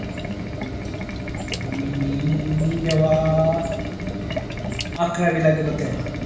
मी जेव्हा अकरावीला गेलो तेव्हा